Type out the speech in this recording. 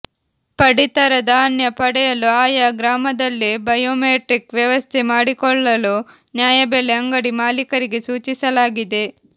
ಪಡಿತರ ಧಾನ್ಯ ಪಡೆಯಲು ಆಯಾ ಗ್ರಾಮದಲ್ಲೇ ಬಯೊಮೆಟ್ರಿಕ್ ವ್ಯವಸ್ಥೆ ಮಾಡಿಕೊಳ್ಳಲು ನ್ಯಾಯಬೆಲೆ ಅಂಗಡಿ ಮಾಲೀಕರಿಗೆ ಸೂಚಿಸಲಾಗಿದೆ